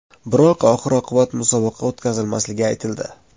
Biroq oxir-oqibat musobaqa o‘tkazilmasligi aytildi.